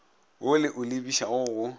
wo le o lebišago go